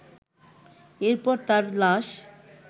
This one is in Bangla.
এরপর তার লাশ